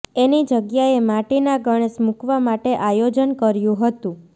એની જગ્યાએ માટીના ગણેશ મુકવા માટે આયોજન કર્યું હતું